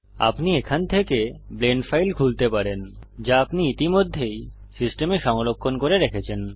আপনি এখান থেকে ব্লেন্ড ফাইল খুলতে পারেন যা আপনি ইতিমধ্যেই সিস্টেমে সংরক্ষণ করে রেখেছেন